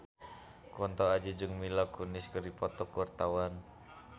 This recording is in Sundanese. Kunto Aji jeung Mila Kunis keur dipoto ku wartawan